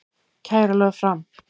Kæra lögð fram